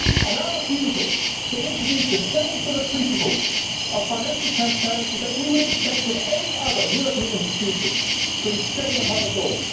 Our refusal to introduce the same sort of principles of financial transparency that we would expect of any other European institution brings shame upon us all.